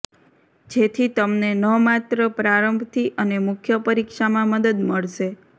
જેથી તમને ન માત્ર પ્રારંભથી અને મુખ્ય પરીક્ષામાં મદદ મળશે